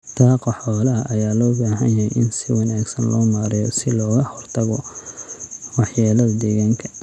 Daaqa xoolaha ayaa loo baahan yahay in si wanaagsan loo maareeyo si looga hortago waxyeelada deegaanka.